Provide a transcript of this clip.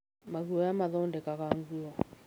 Maguoya mathondekaga nguo.